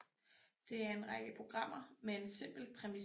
Det er en række programmer med en simpelt premis